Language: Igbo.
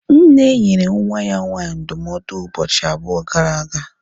Nne nyere nwa ya nwaanyị ndụmọdụ ụbọchị abụọ gara aga